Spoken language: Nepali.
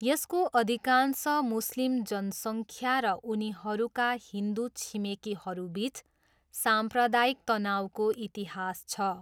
यसको अधिकांश मुस्लिम जनसङ्ख्या र उनीहरूका हिन्दु छिमेकीहरूबिच साम्प्रदायिक तनाउको इतिहास छ।